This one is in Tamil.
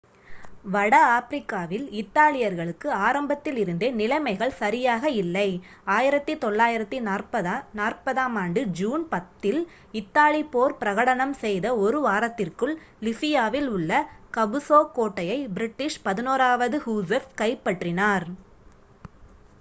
வட ஆப்பிரிக்காவில் இத்தாலியர்களுக்கு ஆரம்பத்தில் இருந்தே நிலைமைகள் சரியாக இல்லை 1940 ஜூன் 10 இல் இத்தாலி போர் பிரகடனம் செய்த ஒரு வாரத்திற்குள் லிபியாவில் உள்ள கபுசோ கோட்டையை பிரிட்டிஷ் 11 வது ஹுஸர்ஸ் கைப்பற்றினார்